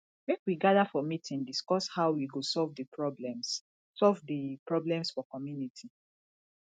make we gather for meeting discuss how we go solve the problems solve the problems for community